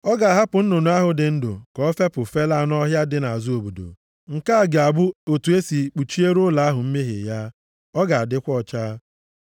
Ọ ga-ahapụ nnụnụ ahụ dị ndụ ka o fepụ felaa nʼọhịa dị nʼazụ obodo. Nke a ga-abụ otu e si kpuchiere ụlọ ahụ mmehie ya. Ọ ga-adịkwa ọcha.”